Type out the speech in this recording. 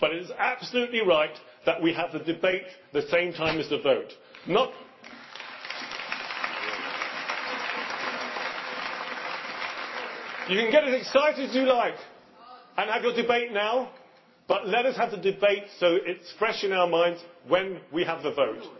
But it is absolutely right that we have the debate at the same time as the vote. You can get as excited as you like and have your debate now, but let us have the debate so that it is fresh in our minds when we have the vote.